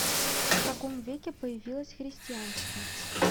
в каком веке появилось христианство